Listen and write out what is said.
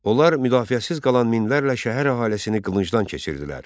Onlar müdafiəsiz qalan minlərlə şəhər əhalisini qılıncdan keçirdilər.